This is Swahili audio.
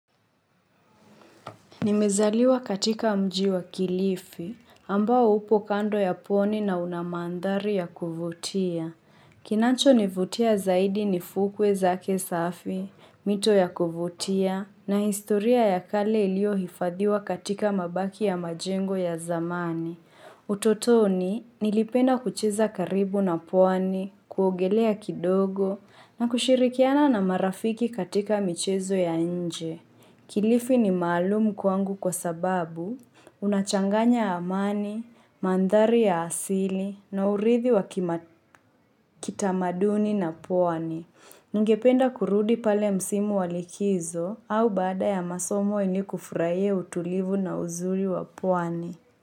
Nimezaliwa katika mji wa kilifi, ambao upo kando ya pwani na una maandhari ya kuvutia. Kinancho nivutia zaidi ni fukwe zake safi, mito ya kuvutia, na historia ya kale iliyo hifadhiwa katika mabaki ya majengo ya zamani. Utotoni, nilipenda kucheza karibu na pwani, kuongelea kidogo, na kushirikiana na marafiki katika michezo ya nje. Kilifi ni maalumu kwangu kwa sababu, unachanganya amani, mandhari ya asili na uridhi wa kitamaduni na pwani. Ningependa kurudi pale msimu wa likizo au baada ya masomo ilikufurahi utulivu na uzuri wa pwani.